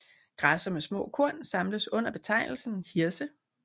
Græsser med små korn samles under betegnelsen hirse